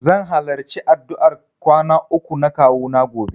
Zan halarci addu'ar kwana uku na kawuna gobe.